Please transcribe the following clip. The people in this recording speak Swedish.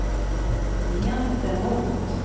gentemot